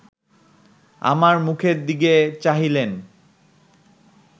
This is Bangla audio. আমার মুখের দিকে চাহিলেন